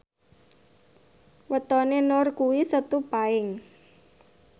wetone Nur kuwi Setu Paing